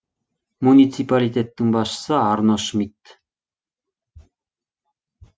муниципалитеттің басшысы арно шмидт